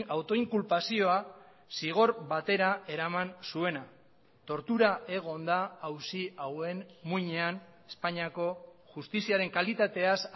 autoinkulpazioa zigor batera eraman zuena tortura egon da auzi hauen muinean espainiako justiziaren kalitateaz